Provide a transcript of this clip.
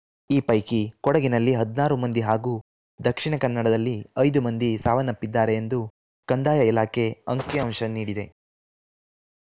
ಈ ಪೈಕಿ ಕೊಡಗಿನಲ್ಲಿ ಹದಿನಾರು ಮಂದಿ ಹಾಗೂ ದಕ್ಷಿಣ ಕನ್ನಡದಲ್ಲಿ ಐದು ಮಂದಿ ಸಾವನ್ನಪ್ಪಿದ್ದಾರೆ ಎಂದು ಕಂದಾಯ ಇಲಾಖೆ ಅಂಕಿಅಂಶ ನೀಡಿದೆ